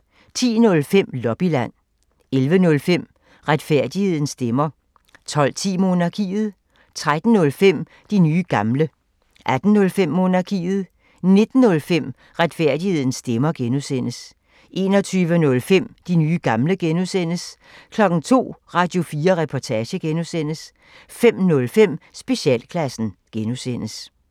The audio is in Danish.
10:05: Lobbyland 11:05: Retfærdighedens stemmer 12:10: Monarkiet 13:05: De nye gamle 18:05: Monarkiet 19:05: Retfærdighedens stemmer (G) 21:05: De nye gamle (G) 02:00: Radio4 Reportage (G) 05:05: Specialklassen (G)